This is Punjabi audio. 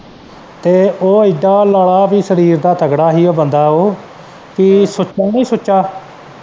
ਤੇ ਉਹ ਏਦਾਂ ਲਾਲਾ ਵੀ ਸਰੀਰ ਦਾ ਤਗੜਾ ਹੀ ਉਹ ਬੰਦਾ ਉਹ ਕਿ ਸੁੱਚਾ ਨਹੀਂ ਸੁੱਚਾ।